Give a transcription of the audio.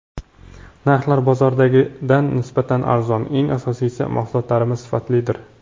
Narxlar bozordagidan nisbatan arzon, eng asosiysi, mahsulotlarimiz sifatlidir”.